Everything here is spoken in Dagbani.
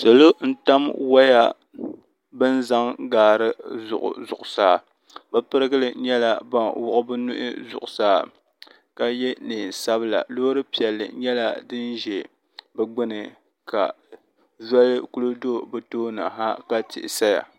salo n tam waya bɛn zaŋ gari gili zuɣ' saa bɛ pɛrigili nyɛla ban zuɣ' bɛ nuhi zuɣ' saa ka yɛ nɛnsabila lori piɛli nyɛla din ʒɛ di gbani ka zoli kuli do di tuuni ha ka tihi saya